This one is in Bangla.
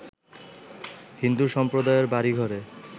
হিন্দু সম্প্রদায়ের বাড়ী-ঘরে